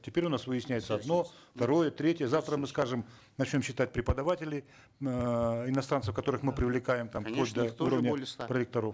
теперь у нас выясняется одно второе третье завтра мы скажем начнем считать преподавателей эээ иностранцев которых мы привлекаем там до уровня проректоров